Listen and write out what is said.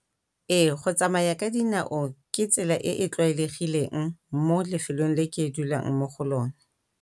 Ee go tsamaya ka dinao ke tsela e e tlwaelegileng mo lefelong le ke dulang mo go lone.